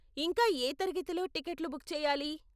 ఇంకా ఏ తరగతిలో టికెట్లు బుక్ చేయాలి?